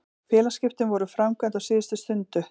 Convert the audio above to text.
Félagsskiptin voru framkvæmd á síðustu stundu.